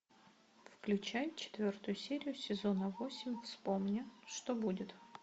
включай четвертую серию сезона восемь вспомни что будет